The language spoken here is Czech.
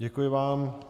Děkuji vám.